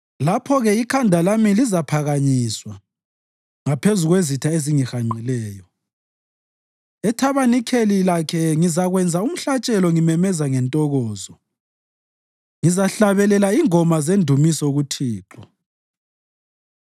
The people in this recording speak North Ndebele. Lapho-ke ikhanda lami lizaphakanyiswa ngaphezu kwezitha ezingihanqileyo; ethabanikeleni lakhe ngizakwenza umhlatshelo ngimemeza ngentokozo; ngizahlabelela ingoma zendumiso kuThixo.